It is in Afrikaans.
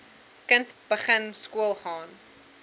kind begin skoolgaan